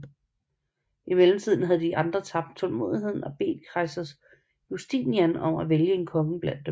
I mellemtiden havde andre tabt tålmodigheden og bedt kejser Justinian om at vælge en konge blandt dem